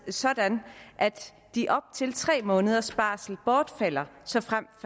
sådan at de op til tre måneders barsel bortfalder såfremt